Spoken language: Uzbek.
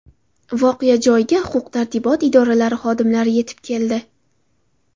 Voqea joyiga huquq-tartibot idoralari xodimlari yetib keldi.